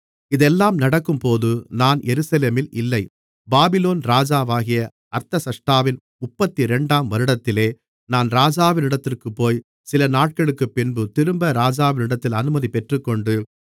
இதெல்லாம் நடக்கும்போது நான் எருசலேமில் இல்லை பாபிலோன் ராஜாவாகிய அர்தசஷ்டாவின் முப்பத்திரண்டாம் வருடத்திலே நான் ராஜாவிடத்திற்குபோய் சில நாட்களுக்குப்பின்பு திரும்ப ராஜாவிடத்தில் அனுமதி பெற்றுக்கொண்டு